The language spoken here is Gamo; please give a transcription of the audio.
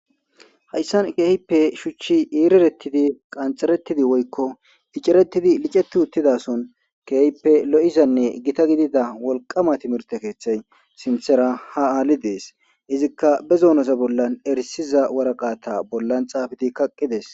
hayssan keehippe shuchchi iiriretidi qanxeretidi woykko icerettidi liceti uttidason keehippe lo7izanne gita gidida wolqama timirte keeththay sintera ha aali dees izikka bezoonoza bollan erisiza waraqata bollan xaafidi kaqqides